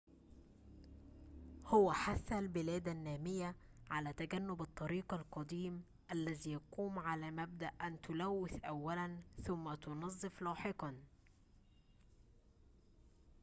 هو حث البلاد النامية على تجنب الطريق القديم الذي يقوم على مبدأ أن تلوث أولاً ثم تنظف لاحقاً